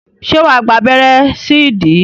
Ṣé wà á gba abẹ́rẹ́ sí ìdí?